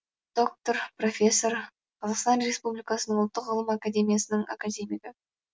доктор профессор қазақстан республикасы ұлттық ғылым академиясының академигі